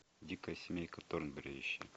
дикая семейка торнберри ищи